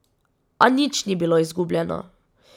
A nič ni bilo izgubljeno.